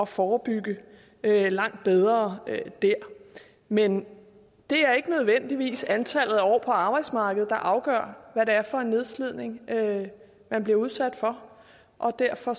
forebygge langt bedre der men det er ikke nødvendigvis antallet af år på arbejdsmarkedet der afgør hvad det er for en nedslidning man bliver udsat for og derfor